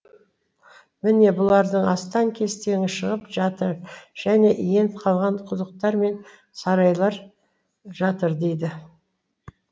міне бұлардың астан кестеңі шығып жатыр және иен қалған құдықтар мен сарайлар жатыр дейді